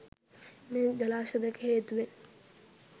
මේ ජලාශ දෙක හේතුවෙන්